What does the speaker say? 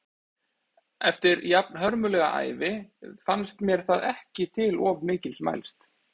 Eftir jafnhörmulega ævi fannst mér það ekki til of mikils mælst.